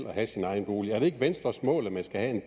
at have sin egen bolig er det ikke venstres mål at man skal